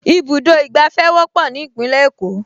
Ibùdó ìgbàfẹ́ wọ́pọ̀ ní Ìpínlẹ̀ Èkó